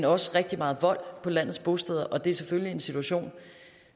også rigtig meget vold på landets bosteder og det er selvfølgelig en situation